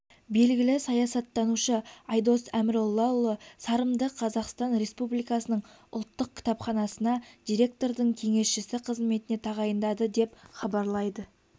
белгілі саясаттанушы айдос әміроллаұлы сарымды қазақстан республикасының ұлттық кітапханасына директордың кеңесшісі қызметіне тағайындады деп хабарлайды